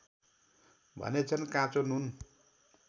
भनेछन् काँचो नुन